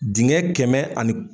Dingɛ kɛmɛ ani